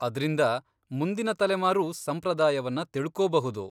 ಅದ್ರಿಂದ ಮುಂದಿನ ತಲೆಮಾರೂ ಸಂಪ್ರದಾಯವನ್ನ ತಿಳ್ಕೋಬಹುದು.